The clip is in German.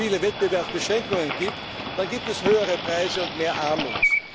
viele Wettbewerbsbeschränkungen gibt, dann gibt es höhere Preise und mehr Armut.